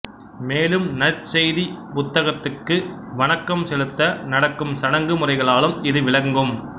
மேலும் நற்செய்திப் புத்தகத்துக்கு வணக்கம் செலுத்த நடக்கும் சடங்கு முறைகளாலும் இது விளங்கும்